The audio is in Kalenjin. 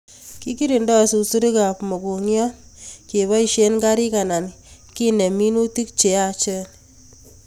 Kikirinoi susurik ab mugongiot keboishe karik anan kenem minutik che yachen